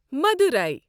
مَدُراے